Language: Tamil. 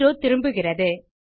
செரோ திரும்புகிறது